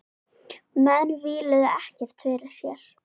Menn víluðu ekkert fyrir sér.